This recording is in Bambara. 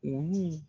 Olu